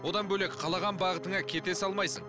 одан бөлек қалаған бағытыңа кете салмайсың